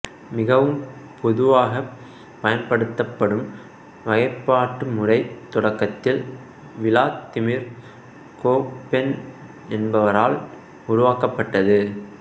மிகவும் பொதுவாகப் பயன்படுத்தப்படும் வகைப்பாட்டு முறை தொடக்கத்தில் விளாதிமீர் கோப்பென் என்பவரால் உருவாக்கப்பட்டது